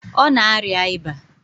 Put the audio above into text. Ọ na arịa ịba.